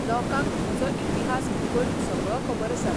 लोकांक म्हजो इतिहास भुगोल सगळो खबर आसा.